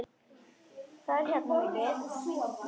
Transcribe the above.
Hún er lík mömmu sinni.